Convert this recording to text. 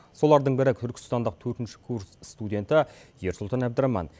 солардың бірі түркістандық төртінші курс студенті ерсұлтан әбдіраман